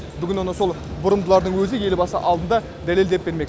бүгін оны сол бұрымдылардың өзі елбасы алдында дәлелдеп бермек